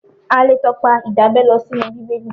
A lè tọpa Ìdábẹ́ lọ sínú Bíbélì.